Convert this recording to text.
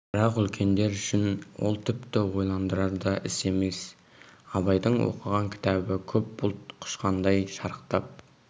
бірақ үлкендер үшін ол тіпті ойландырар да іс емес абайдың оқыған кітабы көп бұлт құшқандай шарықтап